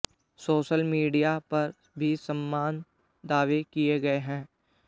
social media पर भी समान दावे किये गए है